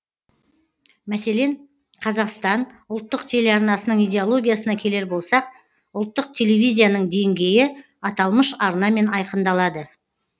мәселен қазақстан ұлттық телеарнасының идеологиясына келер болсақ ұлттық телевизияның деңгейі аталмыш арнамен айқындалады